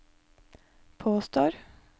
påstår